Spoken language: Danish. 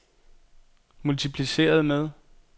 multipliceret med